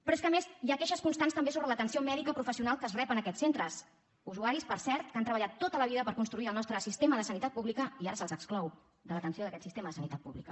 però és que a més hi ha queixes constants també sobre l’atenció mèdica professional que es rep en aquests centres usuaris per cert que han treballat tota la vida per construir el nostre sistema de sanitat pública i que ara se’ls exclou de l’atenció d’aquest sistema de sanitat pública